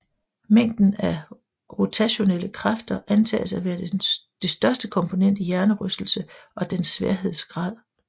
Mængden af rotationelle kræfter antages at være det største komponent i hjernerystelse og dens sværhedsgrad